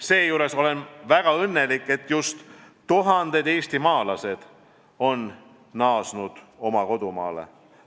Seejuures olen väga õnnelik, et just tuhanded eestimaalased on naasnud oma kodumaale.